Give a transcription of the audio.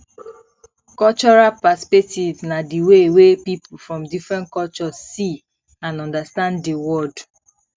cultural perspectives na di way wey people from different cultures see and understand di world